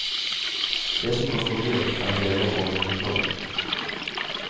Det som koster dyrt, er deler og vedlikehold.